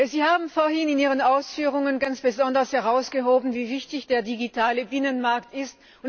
Sie haben vorhin in Ihren Ausführungen ganz besonders hervorgehoben, wie wichtig der digitale Binnenmarkt ist.